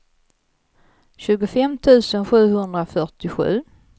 tjugofem tusen sjuhundrafyrtiosju